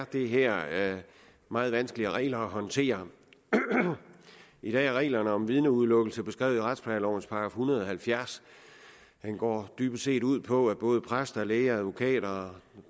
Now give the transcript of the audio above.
det her meget vanskelige regler at håndtere i dag er reglerne om vidneudelukkelse beskrevet i retsplejelovens § en hundrede og halvfjerds den går dybest set ud på at både præster læger advokater